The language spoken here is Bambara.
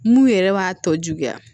Mun yɛrɛ b'a tɔ juguya